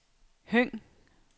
Høng